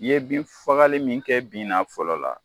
I ye bin fagali min kɛ bin na fɔlɔ la